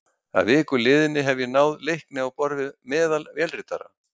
Að viku liðinni hafði ég náð leikni á borð við meðal vélritara.